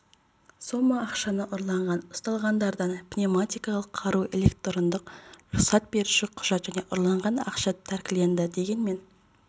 сома ақшаны ұрлаған ұсталғандардан пневматикалық қару электрондық рұқсат беруші құжат және ұрланған ақша тәркіленді дегенмен